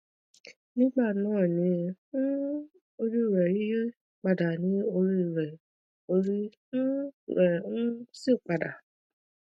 gbìyànjú láti máa lo oògùn máàjóyúndúró déédéé láti dènà àwọn nǹkan wọnyí lọjọ iwájú